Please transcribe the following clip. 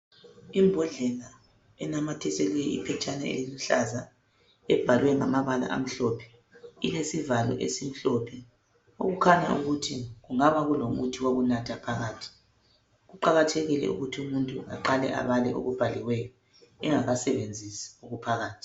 imbodlela inamathiselwe liphetshane eliluhlaza elibhalwe ngamabala ilesivalo esimhlophe okukhnya ukuthi kungabe kungumuthi wokunatha kuqakathekile ukuthi umuntunaqale abale okubhaliweyo engakanathi okuphakathi.